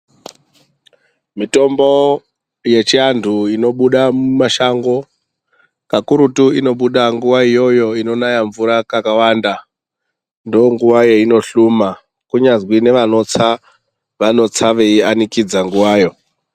Mitombo yechiandu inobuda mumashango kakurutu inobuda nguva iyoyo inonaya mvura kakawanda ndonguva weinohluma kunyazwi neanotsa vanotsa veianikidza nguvawo.